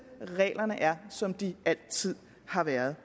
reglerne er som de altid har været